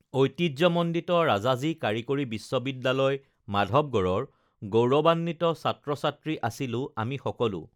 ঐতিহ্যমণ্ডিত ৰাজাজী কাৰিকৰী বিশ্ববিদ্যালয় মাধৱগঢ়ৰ গৌৰৱাম্বিত ছাত্ৰছাত্ৰী আছিলো আমি সকলো